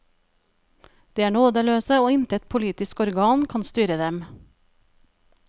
De er nådeløse, og intet politisk organ kan styre dem.